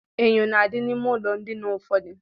Enyò na-adị n'ime ụlọ ndina ụfọdụ.